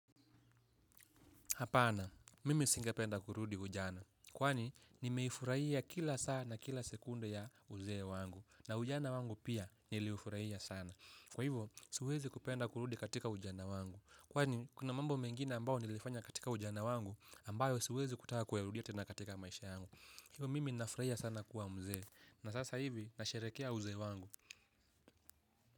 Hapana, mimi singependa kurudi ujana. Kwani, nimeifurahia kila saa na kila sekunde ya uzee wangu. Na ujana wangu pia niliufurahia sana. Kwa hivyo, siwezi kupenda kurudi katika ujana wangu. Kwani, kuna mambo mengina ambao nilifanya katika ujana wangu, ambayo siwezi kutaka kuyarudia tena katika maisha yangu. Hivyo, mimi ninafurahia sana kuwa mzee. Na sasa hivi, nasherehekea uzee wangu.